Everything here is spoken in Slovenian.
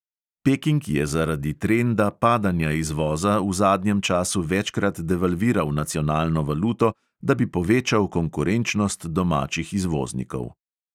Peking je zaradi trenda padanja izvoza v zadnjem času večkrat devalviral nacionalno valuto, da bi povečal konkurenčnost domačih izvoznikov.